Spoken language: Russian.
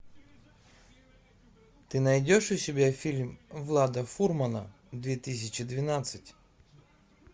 ты найдешь у себя фильм влада фурмана две тысячи двенадцать